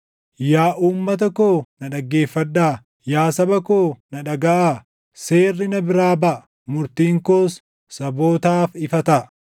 “Yaa uummata koo na dhaggeeffadhaa; yaa saba koo na dhagaʼaa; seerri na biraa baʼa; murtiin koos sabootaaf ifa taʼa.